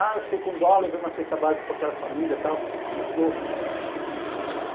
Ah, eu fiquei com dó, levei uma cesta básica para aquela família e tal... Você não ajudou.